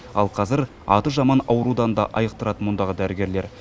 ал қазір аты жаман аурудан да айықтырады мұндағы дәрігерлер